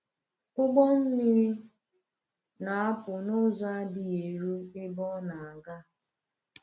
Ụgbọ mmiri na-apụ n’ụzọ adịghị eru ebe ọ na-aga.